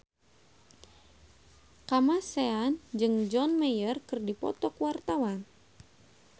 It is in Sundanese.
Kamasean jeung John Mayer keur dipoto ku wartawan